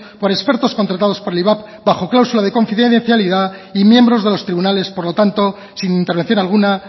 por expertos contratados por el ivap bajo cláusulas de confidencialidad y miembros de los tribunales por lo tanto sin intervención alguna